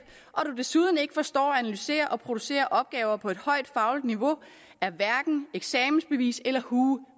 og desuden ikke forstår at analysere og producere opgaver på et højt fagligt niveau er hverken eksamensbevis eller hue